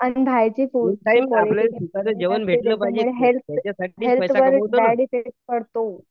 Unhygienic food health health वर bad effect पडतो.